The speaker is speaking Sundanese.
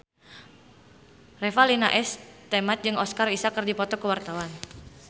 Revalina S. Temat jeung Oscar Isaac keur dipoto ku wartawan